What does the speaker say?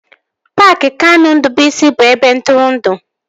Paaki Kanụ Ndụbụisi bụ ebe ntụrụndụ